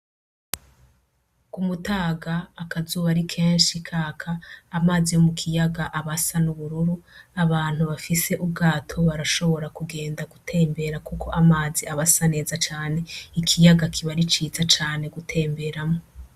K'umutaga akazuba ari kenshi kaka, amazi yo mukiyaga aba asa n'ubururu abantu bafise ubwato barashobora kugenda gutembera kuko amazi aba asa neza cane, ikiyaga kiba ari ciza cane gutemberamwo.